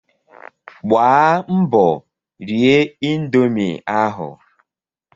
Gbaa mbọ rie indomie ahụ!